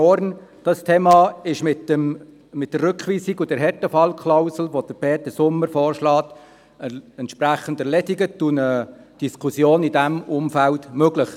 Dieses Thema ist mit der Rückweisung und der Härtefallklausel, die Peter Sommer vorschlägt, entsprechend erledigt, und eine Diskussion ist in diesem Zusammenhang möglich.